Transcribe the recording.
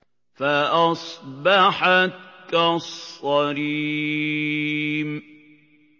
فَأَصْبَحَتْ كَالصَّرِيمِ